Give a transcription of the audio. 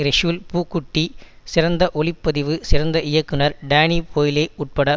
ரெசூல் பூக்குட்டி சிறந்த ஒளிப்பதிவு சிறந்த இயக்குனர் டேனி போய்லே உட்பட